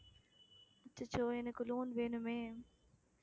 அச்சச்சோ எனக்கு loan வேணுமே